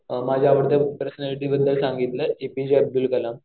माझ्या आवडत्या पर्सनॅलिटी बद्दल सांगितलं एपीजे अब्दुल कलाम.